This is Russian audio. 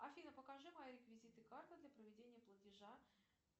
афина покажи мои реквизиты карты для проведения платежа